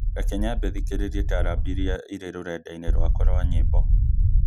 Reke nyambe thikĩrĩrie taarab ĩrĩa ĩrĩ rũrenda-inĩ rwakwa rwa nyĩmbo